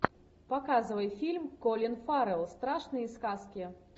показывай фильм колин фаррелл страшные сказки